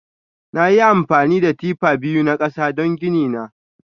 Nayi amfani da tifa biyu na kasa don gini na.